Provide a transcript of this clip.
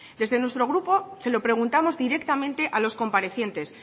desde nuestro grupo se lo preguntamos directamente a los comparecientes